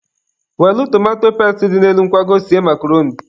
Welụ tomato pesti dị n'elu nkwago sie makroni.